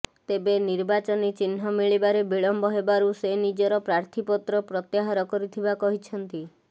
ତେବେ ନିର୍ବାଚନୀ ଚିହ୍ନ ମିଳିବାରେ ବିଳମ୍ବ ହେବାରୁ ସେ ନିଜର ପ୍ରାର୍ଥୀପତ୍ର ପ୍ରତ୍ୟାହାର କରିଥିବା କହିଛନ୍ତି